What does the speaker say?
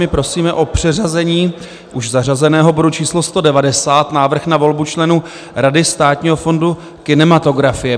My prosíme o přeřazení už zařazeného bodu číslo 190 - návrh na volbu členů Rady státního fondu kinematografie.